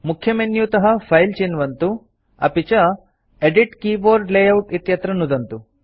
मुख्यमेन्युतः file चिन्वन्तु अपि च एदित् कीबोर्ड लेआउट इत्यत्र नुदन्तु